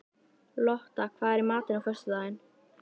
Lotta, hvað er í matinn á föstudaginn?